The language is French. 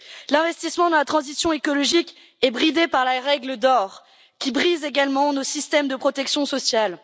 L'investissement dans la transition écologique est bridé par la règle d'or qui brise également nos systèmes de protection sociale.